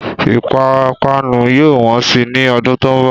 Ìpápanú yóò wọ́n sì ni ọdún tó ń bọ̀